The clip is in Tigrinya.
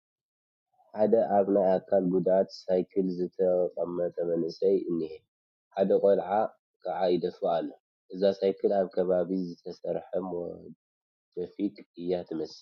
ሓደ ኣብ ናይ ኣካል ጉድኣት ሳይክል ዝተቐመጠ መንእሰይ እኒሀ፡፡ ሓደ ቆልዓ ከዓ ይደፍኦ ኣሎ፡፡ እዛ ሳይክል ኣብ ከባቢና ዝተሰርሐት ሞደፊክ እያ ትመስል፡፡